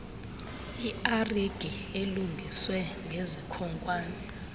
iragi elungiswe ngezikhonkwane